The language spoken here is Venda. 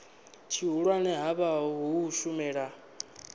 tshihulwane ha vha u shumela